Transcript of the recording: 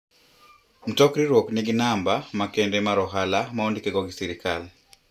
Mtok riwruok nigi namba makende mar ohala ma ondike go gi sirkal.